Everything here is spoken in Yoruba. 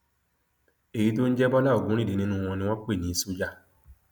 èyí tó ń jẹ bọlá ogunríndé nínú wọn ni wọn pè ní ṣọjà